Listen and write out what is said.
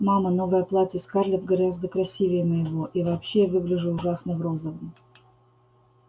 мама новое платье скарлетт гораздо красивее моего и вообще я выгляжу ужасно в розовом